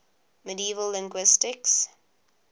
medieval linguists